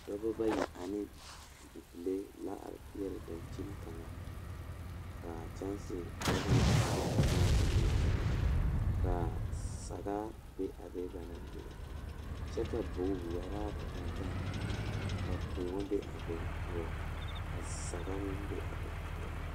Dɔɔba bayi ane bibile kaŋa toɔ la taa kaa nensaalba are ka bamine su kpare peɛle, ka bamine su kpare ziiri ka bamine su kpare sɔglɔ ka bamine su kpare doɔre ka bamine su kpare lene lene a bogi poɔ ka sagre meŋ be a bogi poɔ.